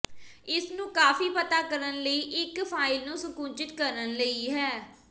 ਇਸ ਨੂੰ ਕਾਫੀ ਪਤਾ ਕਰਨ ਲਈ ਇੱਕ ਫਾਇਲ ਨੂੰ ਸੰਕੁਚਿਤ ਕਰਨ ਲਈ ਹੈ